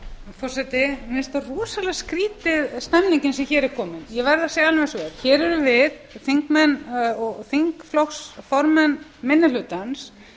forseti mér finnst rosalega skrýtin stemning sem hér er komin ég verð að segja alveg eins og er hér erum við þingmenn og þingflokksformenn minni hlutans